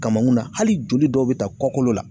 Kamankunna hali joli dɔw bi taa kɔkolo la.